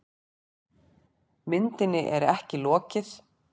Myndinni er ekki lokið.